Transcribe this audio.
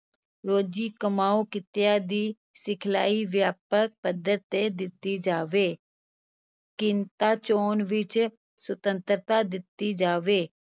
ਰੋਜ਼ੀ-ਕਮਾਊ ਕਿੱਤਿਆਂ ਦੀ ਸਿਖਲਾਈ ਵਿਆਪਕ ਪੱਧਰ 'ਤੇ ਦਿੱਤੀ ਜਾਵੇ ਕਿੱਤਾ-ਚੋਣ ਵਿਚ ਸੁਤੰਤਰਤਾ ਦਿੱਤੀ ਜਾਵੇ।